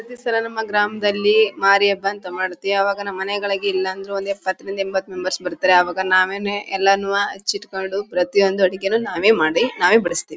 ಮುಂದಿನ್ಸಲ ನಮ್ಮ ಗ್ರಾಮದಲ್ಲಿ ಮಾರಿ ಹಬ್ಬ ಅಂತ ಮಾಡ್ತೀವಿ. ಅವಾಗ ನಮ್ ಮನೆಗಳಿಗೆ ಇಲ್ಲ ಅಂದ್ರು ಒಂದ್ ಎಪ್ಪತ್ರಿಂದ ಎಂಬತ್ ಮೆಂಬರ್ಸ್ ಬರ್ತಾರೆ. ಅವಾಗ ನಾವೇನೇ ಎಲ್ಲಾನೂವೆ ಅಚ್ಚಿಟ್ಕೊಂಡು ಪ್ರತಿಯೊಂದು ಅಡಿಗೆ ನಾವೇ ಮಾಡಿ ನಾವೇ ಬುಡುಸ್ತೀವಿ.